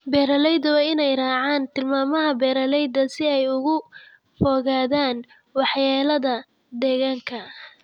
Beeralayda waa in ay raacaan tilmaamaha beeralayda si ay uga fogaadaan waxyeelada deegaanka.